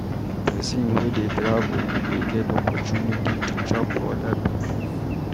Pesin wey dey travel dey get opportunity to chop oda pipo food.